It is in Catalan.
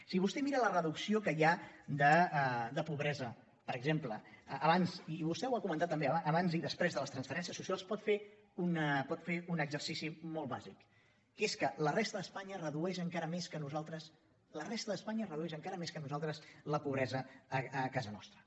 si vostè mira la reducció que hi ha de pobresa per exemple abans i vostè ho ha comentat també i després de les transferències socials pot fer un exercici molt bàsic que és que la resta d’espanya redueix encara més que nosaltres la resta d’espanya redueix encara més que nosaltres la pobresa a casa nostra